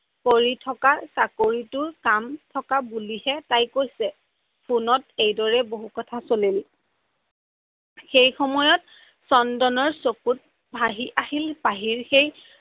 কৰি থকা চাকৰিটোৰ কাম থকা বুলিহে তাই কৈছে। ফোনত এইদৰে বহু কথা চলিল সেইসময়ত চন্দনৰ চকুৰ আগত ভাহি আহিল পাহিৰ সেই